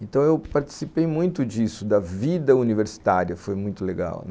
Então, eu participei muito disso, da vida universitária foi muito legal.